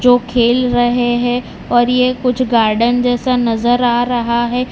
जो खेल रहे हैं और ये कुछ गार्डन जैसा नजर आ रहा है।